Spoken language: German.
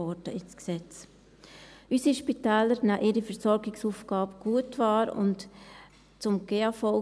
Unsere Spitäler nehmen ihre Versorgungsaufgabe gut wahr.